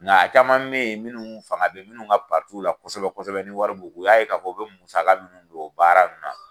Nka caman be yen munnu fanga be munnu ka la kosɛbɛ kosɛbɛ ni wari b'u kun, u y'a ye ka fɔ, u bi musaka minnu don, o baara nunnu na